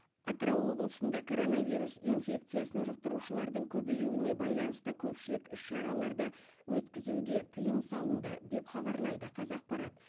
атырау облысында коронавирус инфекциясын жұқтырушылардың көбеюіне байланысты көпшілік іс шараларды өткізуге тыйым салынды деп хабарлайды қазақпарат